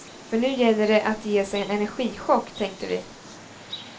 För nu gäller det att ge sig en energichock, tänkte vi.